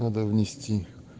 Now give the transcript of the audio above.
надо внести